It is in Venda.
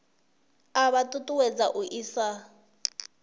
a vha ṱuṱuwedza u isa